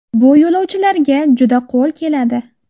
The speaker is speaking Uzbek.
Bu yo‘lovchilarga juda qo‘l keladi.